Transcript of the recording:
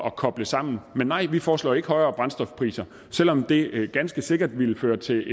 at koble sammen men nej vi foreslår jo ikke højere brændstofpriser selv om det ganske sikkert ville føre til